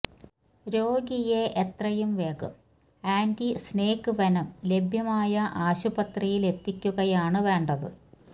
രോഗിയെ എത്രയും വേഗം ആന്റി സ്നേക് വെനം ലഭ്യമായ ആശുപത്രിയിലെത്തിക്കുകയാണു വേണ്ടത്